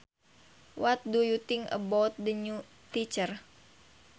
What do you think about the new teacher